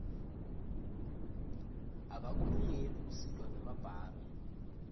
abakulungeli kusitwa ngemabhange